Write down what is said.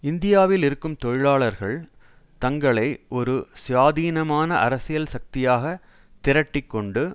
இந்தியாவில் இருக்கும் தொழிலாளர்கள் தங்களை ஒரு சுயாதீனமான அரசியல் சக்தியாக திரட்டி கொண்டு